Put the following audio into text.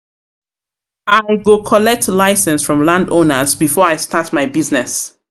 collect license from landowners before I start my business.